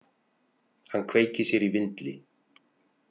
Hann kveikir sér í vindli.